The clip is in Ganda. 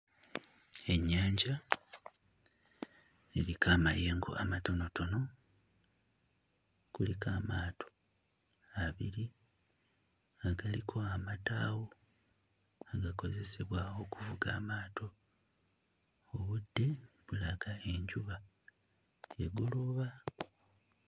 Ennyanja eriko amayengo amatonotono kuliko amaato abiri nga galiko amataawo agakozesebwa okuvuga amaato obudde bulaga enjuba egolooba.